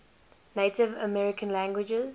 native american languages